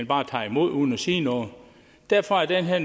bare imod uden at sige noget derfor er det her